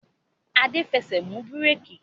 Adé ń fẹsẹ̀ mú bíréékì